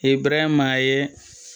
I ye buranya ma ye